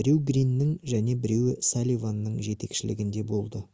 біреуі гриннің және біреуі салливанның жетекшілігінде болды